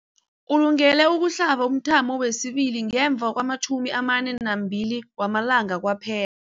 Ulungele ukuhlaba umthamo wesibili ngemva kwama-42 wama langa kwaphe